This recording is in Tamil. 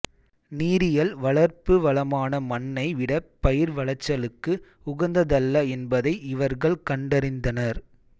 நீரியல் வளர்ப்பு வளமான மண்ணை விட பயிர் விளைச்சலுக்கு உகந்ததல்ல என்பதை இவர்கள் கண்டறிந்தனர்